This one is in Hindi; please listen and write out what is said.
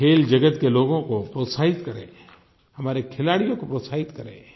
खेल जगत के लोगों को प्रोत्साहित करें हमारे खिलाड़ियों को प्रोत्साहित करें